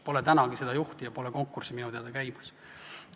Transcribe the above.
Pole tänagi seda juhti ja minu teada pole konkurssigi käimas.